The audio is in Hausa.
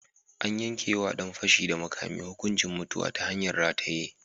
An yanke wa ɗan fashi da makami hukuncin mutuwa ta hanyar rataye.